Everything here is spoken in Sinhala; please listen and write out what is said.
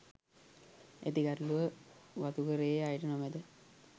ඇති ගැටලුව වතුකරයේ අයට නොමැත